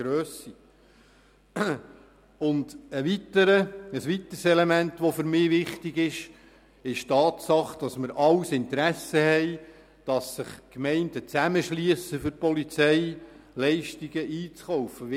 Für mich ist ein weiteres Element wichtig, nämlich die Tatsache, dass wir alle ein Interesse daran haben, dass die Gemeinden sich für den Einkauf von Polizeileistungen zusammenschliessen.